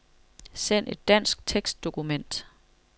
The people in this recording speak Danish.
Send et dansk tekstdokument.